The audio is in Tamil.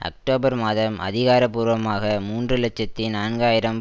அக்டோபர் மாதம் அதிகாரபூர்வமாக மூன்று இலட்சத்தி நான்கு ஆயிரம்